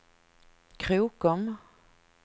Krokom